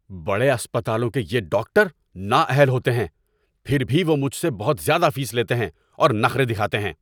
بڑے اسپتالوں کے یہ ڈاکٹر نااہل ہوتے ہیں، پھر بھی وہ مجھ سے بہت زیادہ فیس لیتے ہیں اور نخرے دکھاتے ہیں۔